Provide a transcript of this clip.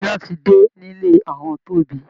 Iná ti dé nílé àwọn Tobi